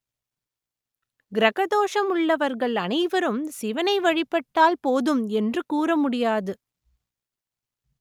கிரக தோஷம் உள்ளவர்கள் அனைவரும் சிவனை வழிபட்டால் போதும் என்று கூற முடியாது